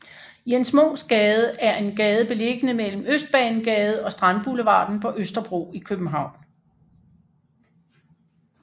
Jens Munks Gade er en gade beliggende mellem Østbanegade og Strandboulevarden på Østerbro i København